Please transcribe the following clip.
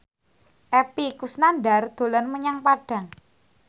Epy Kusnandar dolan menyang Padang